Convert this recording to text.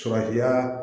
Surakiya